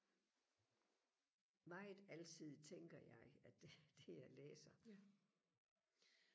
meget alsidigt tænker jeg at det det jeg læser